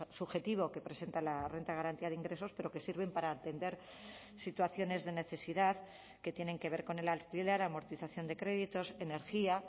subjetivo que presenta la renta de garantía de ingresos pero que sirven para atender situaciones de necesidad que tienen que ver con el alquiler amortización de créditos energía